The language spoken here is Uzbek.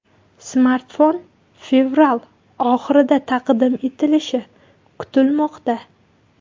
Smartfon fevral oxirida taqdim etilishi kutilmoqda.